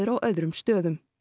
á öðrum stöðum